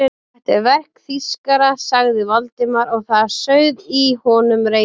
Þetta er verk þýskara sagði Valdimar og það sauð í honum reiðin.